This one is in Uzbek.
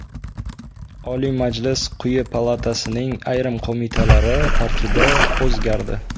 Oliy Majlis quyi palatasining ayrim qo‘mitalari tarkibi o‘zgardi.